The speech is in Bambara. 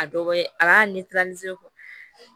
A dɔ ye a b'a